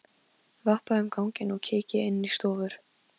Vappa um ganginn og kíki inn í stofur.